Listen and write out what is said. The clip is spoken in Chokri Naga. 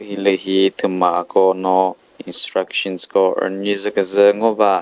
hilühi thümako no instructions ko rünyizü küzü ngoba.